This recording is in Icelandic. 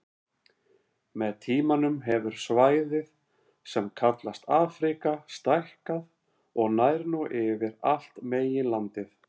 Með tímanum hefur svæðið sem kallast Afríka stækkað og nær nú yfir allt meginlandið.